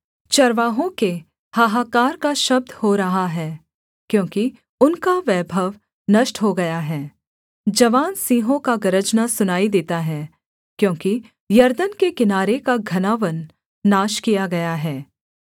चरवाहों के हाहाकार का शब्द हो रहा है क्योंकि उनका वैभव नष्ट हो गया है जवान सिंहों का गरजना सुनाई देता है क्योंकि यरदन के किनारे का घना वन नाश किया गया है